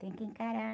Tem que encarar.